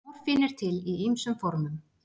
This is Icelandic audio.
Morfín er til í ýmsum formum.